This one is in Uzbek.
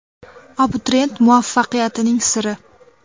Abituriyent muvaffaqiyatining siri.